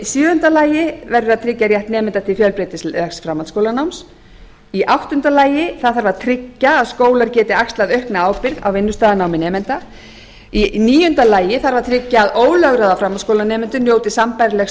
sjöunda tryggja verður rétt nemenda til fjölbreytilegs framhaldsskólanáms áttunda tryggja þarf að skólar geti axlað aukna ábyrgð á vinnustaðanámi nemenda níundi tryggja þarf að ólögráða framhaldsskólanemendur njóti sambærilegs